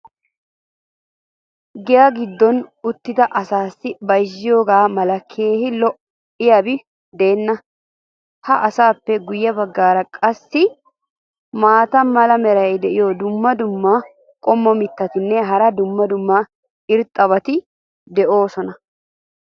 Giyaa giddon uttidi asaassi bayzziyoogaa mala keehi lo'iyaabi deena. ha asaappe guye bagaara qassi maata mala meray diyo dumma dumma qommo mitattinne hara dumma dumma irxxabati de'oosona.